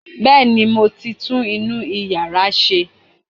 Bẹ́ẹ̀ni, mo ti tún inú yàrá ṣe